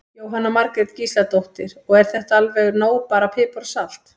Jóhanna Margrét Gísladóttir: Og er þetta alveg nóg bara salt og pipar?